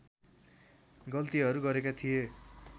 गल्तीहरू गरेका थिए